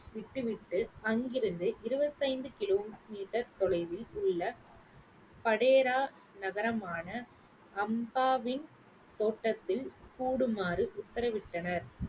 விட்டு விட்டு அங்கிருந்து இருபத்தைந்து கிலோமீட்டர் தொலைவில் உள்ள படையரா நகரமான அம்பாவின் தோட்டத்தில் கூடுமாறு உத்தரவிட்டனர்.